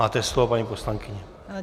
Máte slovo, paní poslankyně.